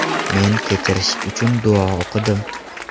Men kechirish uchun duo o‘qidim.